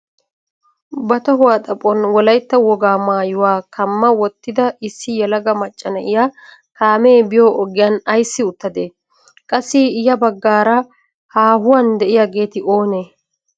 Ba tohuwaa xaphon wolaytta wogaa maayuwaa kamma wottida issi yelaga macca na'iyaa kaamee biyo ogiyan ayssi uttadee? Qassi ya baggaara haahuwaan de'iyaageeti oonee?